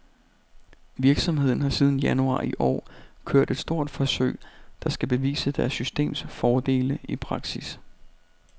Virksomheden har siden januar i år kørt et stort forsøg, der skal bevise deres systems fordele i praksis.